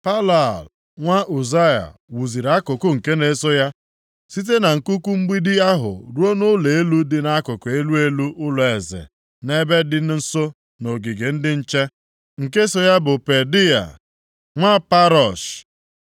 Palal nwa Uzai wuziri akụkụ nke na-eso ya site na nkuku mgbidi ahụ ruo nʼụlọ elu dị nʼakụkụ elu elu ụlọeze nʼebe dị nso nʼogige ndị nche. Nke so ya bụ Pedaia nwa Parosh,